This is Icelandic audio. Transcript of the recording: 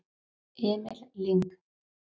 Emil Lyng